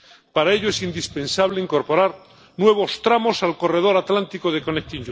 Para ello es indispensable incorporar nuevos tramos al corredor atlántico del MCE.